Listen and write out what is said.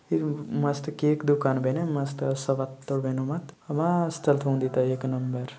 एरु मस्त केके दुकान बेने मस्त सबत्तो बेनो माँ मस्त थोंड़ी ते एक नंबर --